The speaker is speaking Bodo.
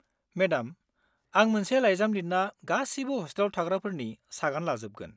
मेडाम, आं मोनसे लाइजाम लिरना गासिबो हस्टेलाव थाग्राफोरनि सागान लाजोबगोन।